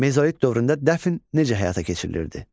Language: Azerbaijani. Mezolit dövründə dəfn necə həyata keçirilirdi?